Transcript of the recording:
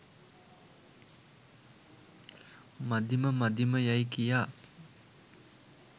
මදිම මදිම යැයි කියා